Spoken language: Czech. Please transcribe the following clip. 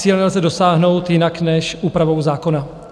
Cíle lze dosáhnout jinak než úpravou zákona.